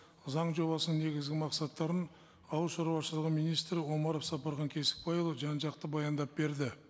заң жобасының негізгі мақсаттарын ауыл шаруашылығы министрі омаров сапархан кесікбайұлы жан жақты баяндап берді